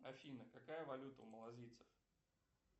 афина какая валюта у малазийцев